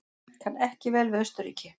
Kann ekki vel við Austurríki.